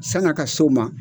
San'a ka s'o ma